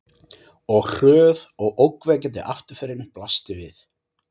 Og hröð og ógnvekjandi afturförin blasti við.